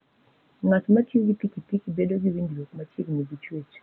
Ng'at ma tiyo gi pikipiki, bedo gi winjruok machiegni gi chwech.